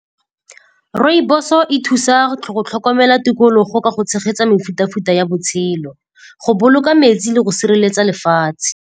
Rooibos-o e thusa go tlhokomela tikologo ka go tshegetsa mefuta-futa ya botshelo, go boloka metsi le go sireletsa lefatshe.